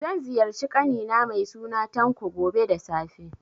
Zan ziyarci ƙani na mai suna Tanko, gobe da safe.